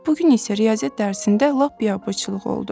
Bu gün isə riyaziyyat dərsində lap biabırçılıq oldu.